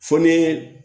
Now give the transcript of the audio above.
Fo ne